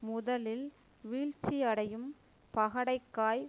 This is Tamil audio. முதலில் வீழ்ச்சியடையும் பகடைக்காய்